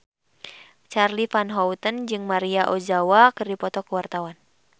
Charly Van Houten jeung Maria Ozawa keur dipoto ku wartawan